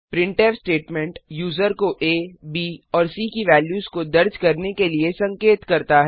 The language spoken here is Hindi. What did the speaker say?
प्रिंटफ स्टेटमेंट यूजर को आ ब और सी की वेल्यूस को दर्ज करने के लिए संकेत करता है